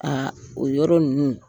o yɔrɔ ninnu.